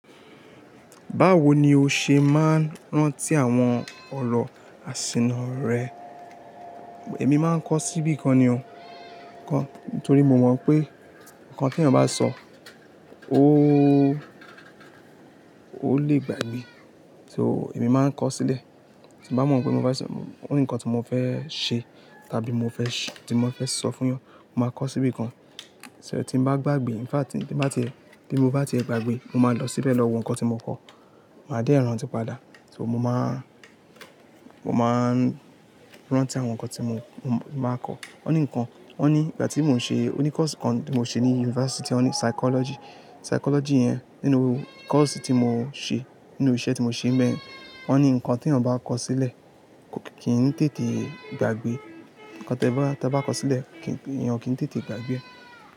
Báwo ni o ṣe máa ń rántí àwọn ọ̀rọ̀ àsìnà rẹ? Èmi máa ń kọ síbí kan ni o, nítorí mo mọ̀ pé nǹkan tí ènìyàn bá sọ, ó, ó lè gbàgbé. So èmi máa ń kọ sílẹ̀. Tí mo bá mọ̀ pé mo bá, ó ní nǹkan tí mo fẹ́ ṣe, tàbí mo fẹ́, tí mo fẹ́ sọ fún yàn, mo máa kọ síbí kan. Ṣo tí n bá gbàgbé, in fact tí n bá ti, tí mo bá ti gbàgbé, mo máa lọ síbẹ̀ lọ wo nǹkan tí mo kọ. Màá dé rantí padà. So mo máa, mo máa ń rántí àwọn nǹkan tí mo, mo máa kọ. Wọ́n ní nǹkan, wọ́n ni ìgbà tí mò ń ṣe, ó ní course kan tí mo ṣe ní yunifásítì, ó ní psychology, psychology yẹn nínú course tí mo ṣe, nínú iṣẹ́ tí mo ṣe mẹ́rin, wọ́n ní nǹkan tí ènìyàn bá kọ sílẹ̀, ko kì í tètè gbàgbé. Ǹkan tí ẹ bá, tí ẹ bá kọ sílẹ̀, ènìyàn o kì n tètè gbàgbé ẹ.